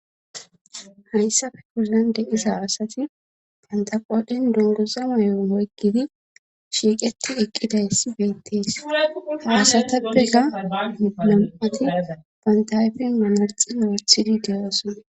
Hayssafe kuzande isa asati pantaqoodhen dunguza meyon hoygidi shiiqeti eqqidaysi beettees haasata begga midulam7ati pantayfi manarxi noothidi deeosona.